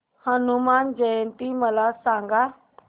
हनुमान जयंती मला सांगा